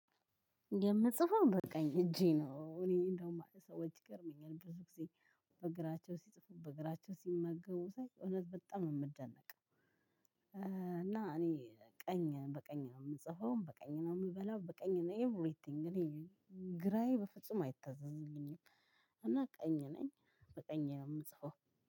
የምጽፈው በቃኝ እጄ ነው እኔ እንደው ማለት ሰዎች ይገርመኛል ብዙ ጊዜ በእግራቸው ሲጽፉ በእግራቸው ሲመገቡ ሳይ እውነት በጣም ነው የምደነቅ። እና እኔ ቀኝ በቀኝ ነው ምጽፈው በቀኝ ነው ምበላው በቀኝ ነው ኤቭሪቲንግ ግራዬ በፍጹም አይታዘዝምኝም። ቀኝ ነኝ በቀኝ ነው ምጽፈው።